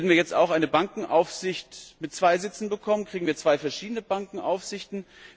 Werden wir jetzt auch eine Bankenaufsicht mit zwei Sitzen bekommen, bekommen wir zwei verschiedene Bankenaufsichten?